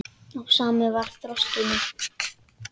Og samur var þroski minn.